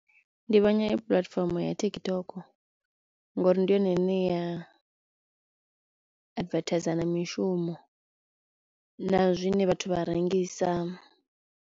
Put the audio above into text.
Ndi vhona i puḽatifomo ya TikTok ngori ndi yone ine ya advertiser na mishumo na zwine vhathu vha rengisa.